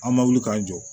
An ma wuli k'an jɔ